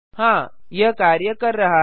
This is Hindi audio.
हाँ यह कार्य कर रहा है